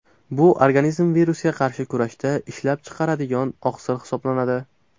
Bu organizm virusga qarshi kurashda ishlab chiqaradigan oqsil hisoblanadi.